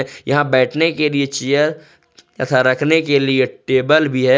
यहां बैठने के लिए चेयर तथा रखने के लिए टेबल भी है।